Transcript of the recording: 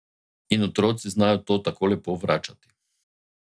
In otroci znajo to tako lepo vračati.